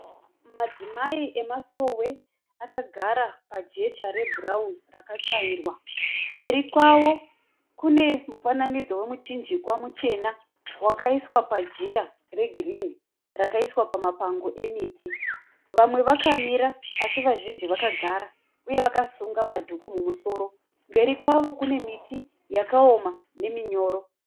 Madzimai emasowe akagara pajecha rebhurauni raka tsvairwa, mberi kwavo kune mufananidzo wemuchinjikwa muchena wakaiswa pajira regirini rakaiswa pama pango emiti. Vamwe vakamira asi vazhinji vakagara uye vakasunga madhuku mumusoro. Mberi kwavo kune miti yakaoma neminyoro.